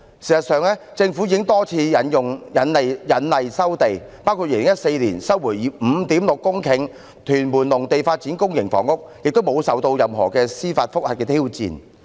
事實上，政府已多次引例收地，包括在2014年收回 5.6 公頃屯門農地以發展公營房屋，並無受到任何司法覆核的挑戰。